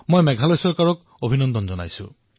মই মেঘালয় চৰকাৰক অভিনন্দন জনাইছো